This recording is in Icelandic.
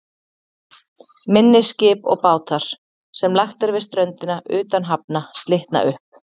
Minni skip og bátar, sem lagt er við ströndina utan hafna, slitna upp.